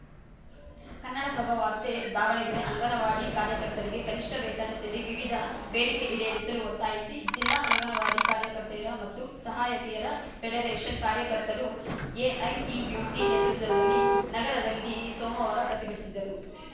ಕನ್ನಡಪ್ರಭ ವಾರ್ತೆ ದಾವಣಗೆರೆ ಅಂಗನವಾಡಿ ಕಾರ್ಯಕರ್ತರಿಗೆ ಕನಿಷ್ಠ ವೇತನ ಸೇರಿ ವಿವಿಧ ಬೇಡಿಕೆ ಈಡೇರಿಸಲು ಒತ್ತಾಯಿಸಿ ಜಿಲ್ಲಾ ಅಂಗನವಾಡಿ ಕಾರ್ಯಕರ್ತೆಯರ ಮತ್ತು ಸಹಾಯಕಿಯರ ಫೆಡರೇಷನ್‌ ಕಾರ್ಯಕರ್ತರು ಎಐಟಿಯುಸಿ ನೇತೃತ್ವದಲ್ಲಿ ನಗರದಲ್ಲಿ ಸೋಮವಾರ ಪ್ರತಿಭಟಿಸಿದರು